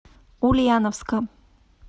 ульяновска